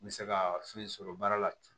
N bɛ se ka fɛn sɔrɔ baara la ten